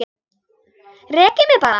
Rekið mig bara!